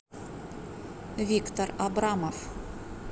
виктор абрамов